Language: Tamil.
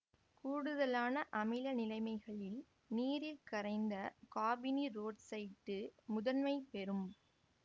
கூடுதலான அமில நிலைமைகளில் நீரில் கரைந்த காபனீரொட்சைட்டு முதன்மை பெறும்